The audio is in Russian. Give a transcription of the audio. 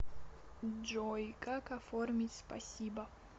джой как оформить спасибо